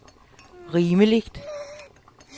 rimeligt